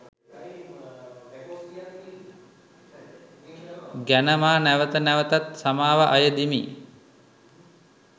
ගැන මා නැවත නැවතත් සමාව අයදිමි.